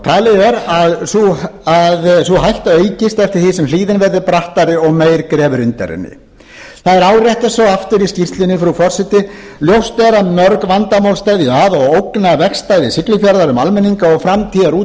talið er að sú hætta aukist eftir því sem hlíðin verði brattari og meira grefur undan henni það er svo áréttað aftur í skýrslunni að ljóst sé að mörg vandamál steðji að og ógni vegstæði siglufjarðar um almenninga og framtíðarútlitið